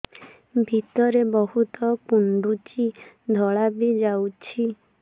ଭିତରେ ବହୁତ କୁଣ୍ଡୁଚି ଧଳା ବି ଯାଉଛି